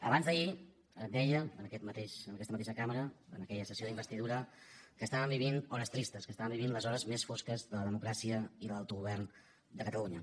abans d’ahir deia en aquesta mateixa cambra en aquella sessió d’investidura que estàvem vivint hores tristes que estàvem vivint les hores més fosques de la democràcia i de l’autogovern de catalunya